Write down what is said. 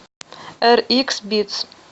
эрикс битс